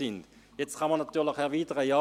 Nun kann man natürlich erwidern: